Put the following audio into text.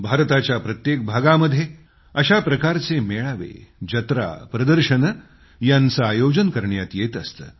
भारताच्या प्रत्येक भागामध्ये अशा प्रकारचे मेळावे जत्रा प्रदर्शनं यांचं आयोजन करण्यात येत असतं